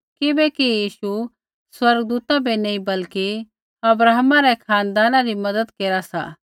किबैकि यीशु स्वर्गदूता बै नी बल्कि अब्राहमै रै खानदाना री मज़त केरा सा